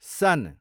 सन